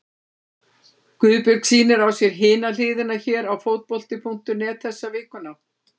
Guðbjörg sýnir á sér Hina hliðina hér á Fótbolti.net þessa vikuna.